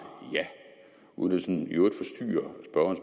ja uden